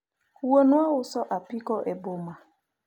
wuonwa uso apiko e boma